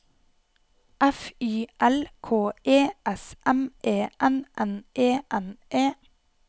F Y L K E S M E N N E N E